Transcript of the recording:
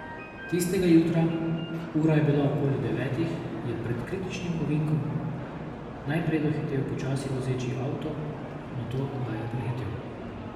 Tistega jutra, ura je bila okoli devetih, je pred kritičnim ovinkom najprej dohitel počasi vozeči avto, nato ga je prehitel.